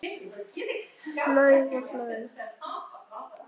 Flaug og flaug.